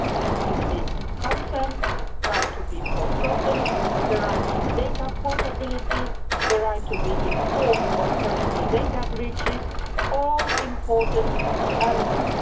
Explicit consent, the right to be forgotten, the right to data portability, and the right to be informed of personal data breaches are all important elements.